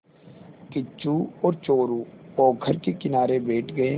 किच्चू और चोरु पोखर के किनारे बैठ गए